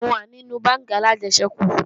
Mo wà nínú bánkì alájẹsẹ́kù